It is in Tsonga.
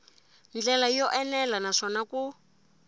ndlela yo enela naswona ku